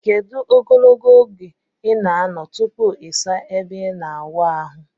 edu ogologo oge ina ano tupu isa ebe ina awụ ahu?